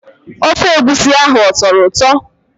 Ofe egwusi ahụ ọ tọrọ ụtọ?